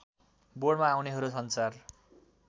बोर्डमा आउनेहरू सञ्चार